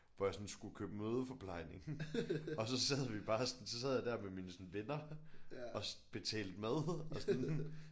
Hvor jeg sådan skulle købe mødeforplejning og så sad vi bare sådan så sad jeg der med mine sådan venner og betalte mad og sådan